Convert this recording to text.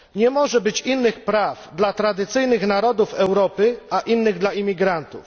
Nie może być innych praw dla tradycyjnych narodów Europy, a innych dla imigrantów.